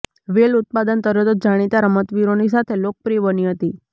વેલ ઉત્પાદન તરત જ જાણીતા રમતવીરોની સાથે લોકપ્રિય બની હતી